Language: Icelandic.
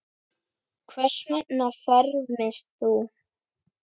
Hvers vegna fermist þú?